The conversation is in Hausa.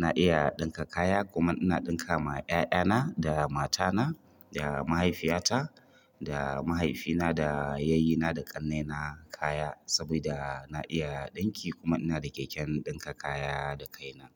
Na iya ɗinka kaya kuma ina ɗinka ma yaya na da matana da mahaifiyata da mahaifina yayyuna da ƙannena kaya saboda na iya ɗinki kuma ina da keken ɗinka kaya da kai na.